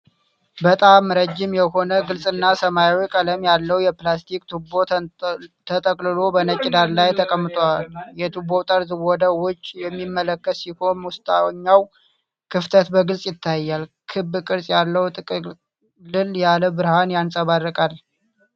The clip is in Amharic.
በጣም ረጅም የሆነ፣ ግልጽና ሰማያዊ ቀለም ያለው የፕላስቲክ ቱቦ ተጠቅልሎ በነጭ ዳራ ላይ ተቀምጧል። የቱቦው ጠርዝ ወደ ውጭ የሚመለከት ሲሆን፣ ውስጠኛው ክፍተት በግልጽ ይታያል። ክብ ቅርጽ ያለው ጥቅልል ላይ ብርሃን ያንጸባርቃል።